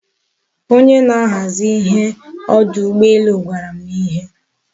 Onye na-ahazi ihe n'odu ugboelu gwara m ihe